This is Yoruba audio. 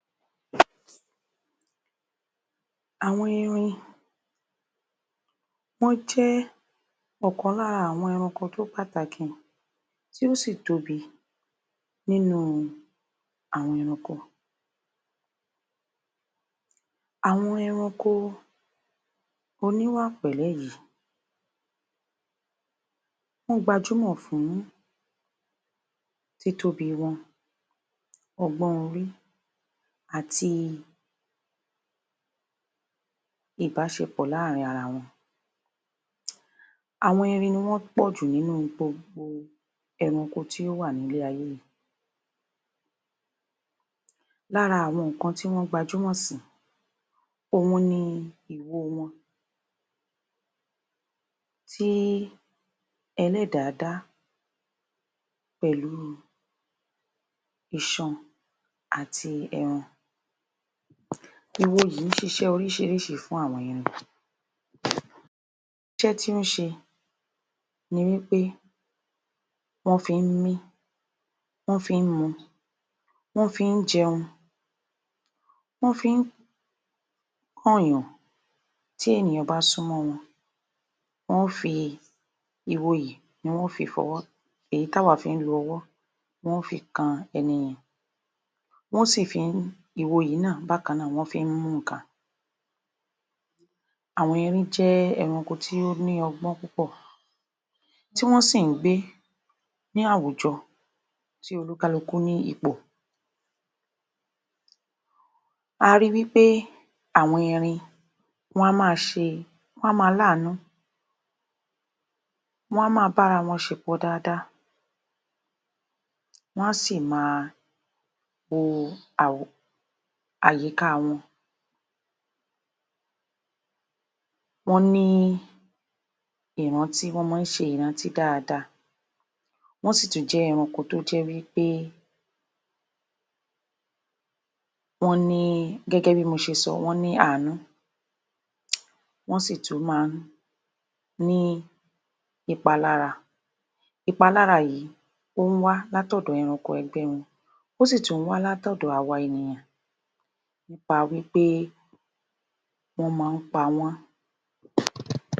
Àwọn erin wọ́n jẹ́ ọ̀kan lára àwọn ẹranko tó pàtàkì, tí ó sì tóbi nìnú àwọn ẹranko. Àwọn ẹranko oníwà pẹ̀lẹ́ yìí, wọ́n gbajúmọ̀ fún títóbi wọn. Ọgbọ́n orí àti ìbásepọ̀ láàrin ara wọn. Àwọn erin ni wọ́n pọ̀jù nínú gbogbo ẹranko tí ó wà ní ilé-ayé yìí. Lára àwọn nǹkan tí wọ́n gbajúmọ̀ sí, òun ni ìwo wọn, tí Ẹlẹ́dàá dá pẹ̀lu iṣan àti ẹran. Ìwo yìí ń ṣiṣẹ́ orísìírísìí fún àwọn erin. Iṣẹ́ tí ó ń ṣe ni wípé wọ́n fi ń mí, wọ́n fi ń mu, wọ́n fi ń jẹun, wọ́n fi ń kan èèyàn tí ènìyàn bá súnmọ wọn, wọ́n ó fi ìwo yìí, ni wọ́n ó fi fọwọ́, èyí t'àwa ń fi lo ọwó, wọ́n ó fi kan ẹni yẹn. Wọ́n sì ń fi ìwo yìí náà, bákanáà wọ́n fi ń mú ǹkan. Àwọn erin jẹ́ ẹranko tí ó ní ọgbọ́n púpọ̀, tí wọ́n sì ń gbé ní àwùjọ tí oníkálukú ní ipò. A ríi wípé áwọn erin wọn á maa ṣe e, wọn a máa láànú, wọ́n a máa bára wọn ṣe pọ̀ dáadáa. Wọn á sì máa wo àyíka wọn. Wọ́n ní í ìrántí, Wọ́n maá ń ṣe ìrántí dáadáa. Wọ́n sì ì tún jẹ́ ẹranko tó jẹ́ wí pé, wọ́n ní í, gẹ́gẹ́ bí mo ṣe sọ wọ́n ní í àánú. Wọ́n sì tún máa ń ní ìpalára. ìpalára yìí, ó ń wá látọ̀dọ̀ ẹranko ẹgbẹ́ wọn, ó sì tún ń wá láti ọ̀dọ̀ àwa, ènìyàn nípa wípé wọ́n máa ń pa wọ́n.